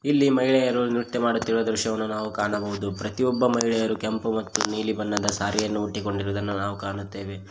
ಈ ಮಹಿಳೆಯರು ನೃತ್ಯ ಮಾಡುತ್ತಿರುವ ದೃಶ್ಯವನ್ನು ನಾವು ಕಾಣಬಹುದು ಪ್ರತಿಯೊಬ್ಬ ಮಹಿಳೆಯರು ಕೆಂಪು ಮತ್ತು ನೀಲಿ ಬಣ್ಣದ ಸಾರಿ ಯನ್ನು ಇಟ್ಟುಕೊಂಡಿರುವುದನ್ನು ನಾವು ಕಾಣುತ್ತೇವೆ.